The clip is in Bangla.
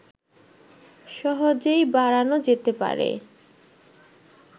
সহজেই বাড়ানো যেতে পারে